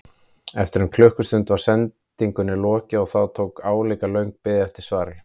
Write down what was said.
Eftir um klukkustund var sendingunni lokið og þá tók við álíka löng bið eftir svari.